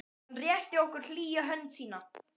Hann rétti okkur hlýja hönd sína.